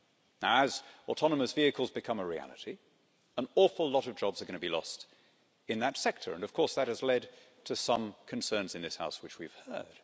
Now, as autonomous vehicles become a reality, an awful lot of jobs are going to be lost in that sector, and of course that has led to some concerns in this House, which we have heard.